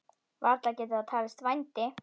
Varla getur það talist vændi?